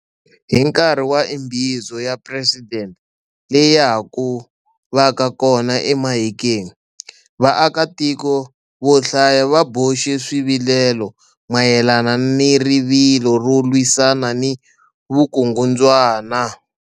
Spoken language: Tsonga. Hi nkarhi wa Imbizo ya Presidente leya haku vaka kona eMahikeng, vaakatiko vo hlaya va boxe swivilelo mayelana ni rivilo ro lwisana ni vukungundzwana.